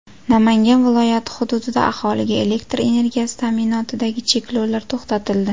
Namangan viloyati hududida aholiga elektr energiyasi ta’minotidagi cheklovlar to‘xtatildi.